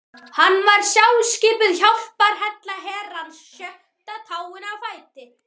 Hann var sjálfskipuð hjálparhella Herrans, sjötta táin á fæti